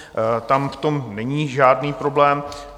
Tam v tom není žádný problém.